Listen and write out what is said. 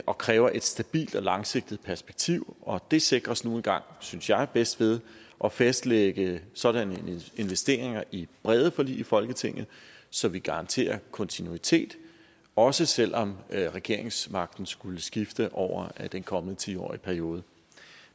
og kræver et stabilt og langsigtet perspektiv og det sikres nu engang synes jeg bedst ved at fastlægge sådanne investeringer i brede forlig i folketinget så vi garanterer kontinuitet også selv om regeringsmagten skulle skifte over den kommende ti årige periode